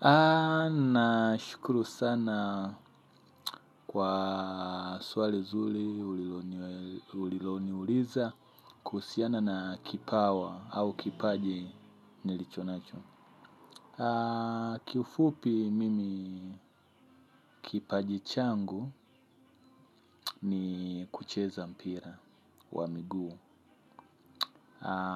Na shukuru sana kwa swali zuli uliloni ulilo niuliza kuhusiana na kipawa au kipaji nilichonacho. Kiufupi mimi kipaji changu ni kucheza mpira wa miguu.